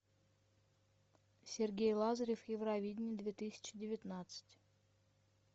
сергей лазарев евровидение две тысячи девятнадцать